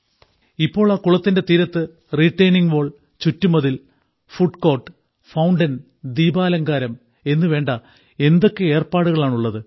ഇപ്പോൾ ആ കുളത്തിന്റെ തീരത്ത് റീട്ടെയ്നിംഗ് വാൾ ചുറ്റുമതിൽ ഫുഡ്കോർട്ട് ഫൌണ്ടൻ ദീപാലങ്കാരം എന്നുവേണ്ട എന്തൊക്കെ ഏർപ്പാടുകളാണുള്ളത്